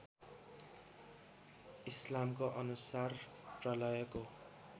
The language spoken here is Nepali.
इस्लामको अनुसार प्रलयको